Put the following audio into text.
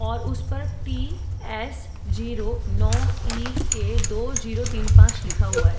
और उस पर टी एस जीरो नव इ के दो जीरो तीन पाँच लिखा हुआ है।